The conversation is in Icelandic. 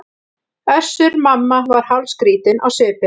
Össur-Mamma var hálfskrýtinn á svipinn.